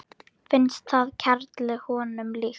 Finnst það kerlu honum líkt.